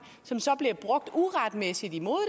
som så bliver brugt uretmæssigt imod